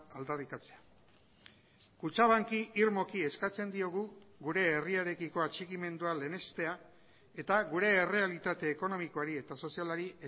aldarrikatzea kutxabanki irmoki eskatzen diogu gure herriarekiko atxikimendua lehenestea eta gure errealitate ekonomikoari eta sozialari